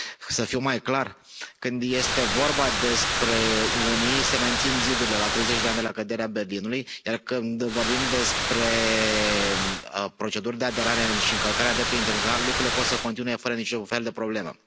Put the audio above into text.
Să fiu mai clar când este vorba despre unii se mențin zidurile la 30 de ani de la căderea Berlinului, iar când vorbim despre proceduri de aderare și încălcarea dreptului internațional, lucrurile pot să continue fără niciun fel de problemă.